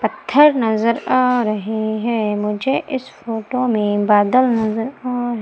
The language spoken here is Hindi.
पत्थर नजर आ रहे हैं मुझे इस फोटो में बादल नजर आ--